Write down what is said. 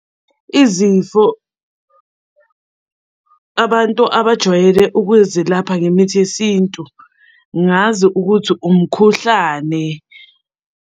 Izifo abantu abajwayele ukuzelapha ngemithi yesintu, ngazi ukuthi umkhuhlane.